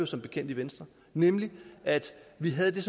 som bekendt i venstre nemlig at vi havde